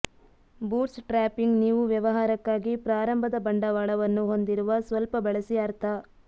bootstrapping ನೀವು ವ್ಯವಹಾರಕ್ಕಾಗಿ ಪ್ರಾರಂಭದ ಬಂಡವಾಳವನ್ನು ಹೊಂದಿರುವ ಸ್ವಲ್ಪ ಬಳಸಿ ಅರ್ಥ